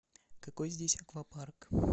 какой здесь аквапарк